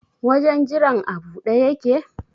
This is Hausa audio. Wajen jiran a buɗe yake?